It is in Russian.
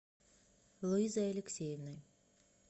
луизой алексеевной